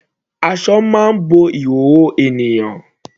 Aṣọ máa ń bo ìhòòhò ènìyàn.